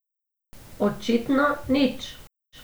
Očitno nič.